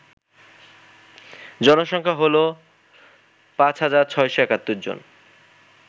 জনসংখ্যা হল ৫৬৭১ জন